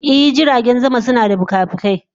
I, jiragen sama suna da fikafikai.